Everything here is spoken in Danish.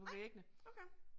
Nej, okay